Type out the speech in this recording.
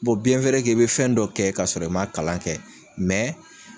Bɔ i be fɛn dɔ kɛ kasɔrɔ i m'a kalan kɛ